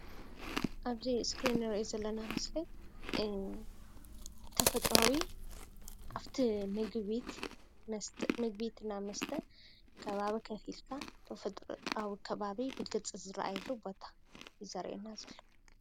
ኣብዚ እስክሪን እንሪኦ ዘለና ምስሊ ተፈጥራዊ ኣፍቲ ምግቢ ቤት እና መስተ ከባቢ ኮፍ ኢልካ ተፈጥሮኣዊ ከባቢ ብግልፂ ዝርኣየሉ ቦታ እዩ ዘርእየና ዘሎ።